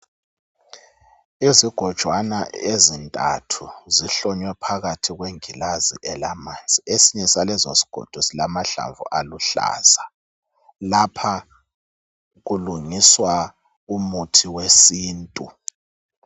izigojwana ezintathu zihlonywe phakathi kwengilazi elilamanzi esinye salezo zigodo silama hlamvu aluhlaza lapha kulungiswa umuthi wesintu